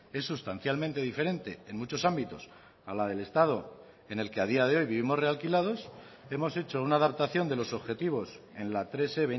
es sustancialmente diferente en muchos ámbitos a la del estado en el que a día de hoy vivimos realquilados hemos hecho una adaptación de los objetivos en la tres e